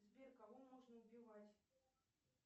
сбер кого можно убивать